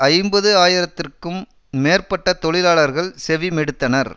ஐம்பது ஆயிரத்துக்கும் மேற்பட்ட தொழிலாளர்கள் செவிமெடுத்தனர்